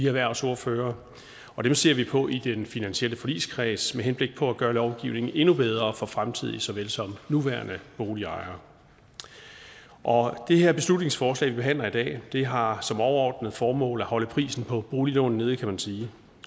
erhvervsordførere og dem ser vi på i den finansielle forligskreds med henblik på at gøre lovgivningen endnu bedre for fremtidige så vel som nuværende boligejere det her beslutningsforslag vi behandler i dag har som overordnet formål at holde prisen på boliglån nede kan man sige